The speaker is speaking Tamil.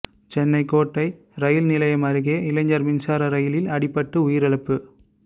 சென்னை கோட்டை இரயில் நிலையம் அருகே இளைஞர் மின்சார ரயிலில் அடிபட்டு உயிரிழப்பு